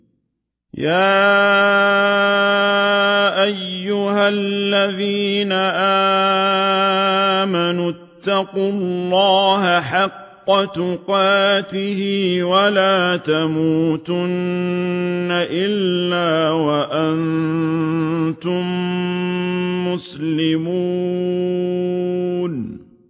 يَا أَيُّهَا الَّذِينَ آمَنُوا اتَّقُوا اللَّهَ حَقَّ تُقَاتِهِ وَلَا تَمُوتُنَّ إِلَّا وَأَنتُم مُّسْلِمُونَ